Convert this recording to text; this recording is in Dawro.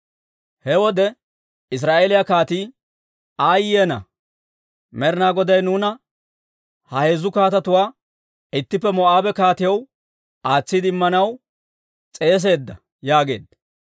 He wode Israa'eeliyaa kaatii, «Aayye ana! Med'ina Goday nuuna ha heezzu kaatetuwaa ittippe Moo'aabe kaatiyaw aatsiide Immanaw s'eeseedda» yaageedda.